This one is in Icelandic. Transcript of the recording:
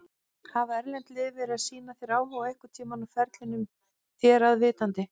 Hafa erlend lið verið að sýna þér áhuga einhverntímann á ferlinum þér að vitandi?